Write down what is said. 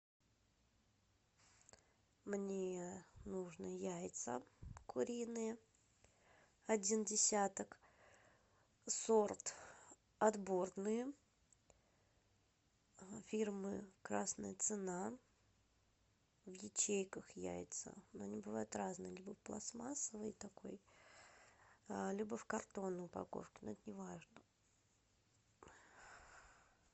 мне нужно яйца куриные один десяток сорт отборные фирмы красная цена в ячейках яйца но они бывают разные либо в пластмассовой такой либо в картонной упаковке но это не важно